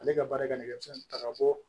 Ale ka baara kɛ nɛgɛso ta ka bɔ